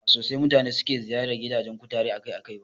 Ba sosai mutane suke ziyartar gidajen kutare akai-akai ba